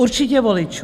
Určitě voličů.